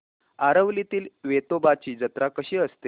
आरवलीतील वेतोबाची जत्रा कशी असते